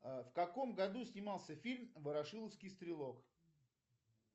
в каком году снимался фильм ворошиловский стрелок